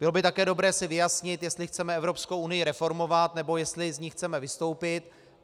Bylo by také dobré si vyjasnit, jestli chceme Evropskou unii reformovat, nebo jestli z ní chceme vystoupit.